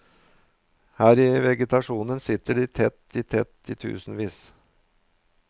Her i vegetasjonen sitter de tett i tett i tusenvis.